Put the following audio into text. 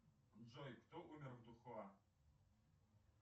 джой кто умер в духуа